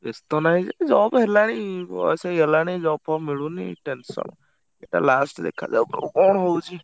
ବେସ୍ତ ନାହିଁ ଯେ job ହେଲାଇଁ ବୟସ ହେଇଗଲାଣି job ଫବ ମିଳୁନି tension ଏଇଟା last ଦେଖାଯାଉ ~କ କଣ ହଉଛି?